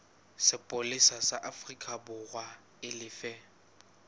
sepolesa sa aforikaborwa e lefe